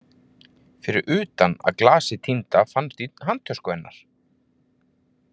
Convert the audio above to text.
Fyrir utan að glasið týnda fannst í handtösku hennar.